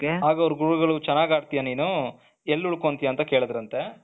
ಆಗ ಅವರು ಗುರುಗಳು ಚೆನ್ನಾಗ್ ಆಡ್ತಿಯಾ ನೀನು ಎಲ್ಲಿ ಉಳ್ಕೊಳ್ತಿಯ ನೀನು ಅಂತ ಕೇಳಿದ್ರಂತೆ.